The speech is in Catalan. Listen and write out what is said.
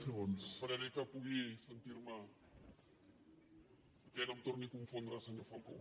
esperaré que pugui sentir me perquè no em torni a confondre senyor falcó